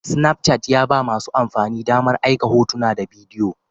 Snapchat ya ba masu amfani damar aika hotuna da bidiyo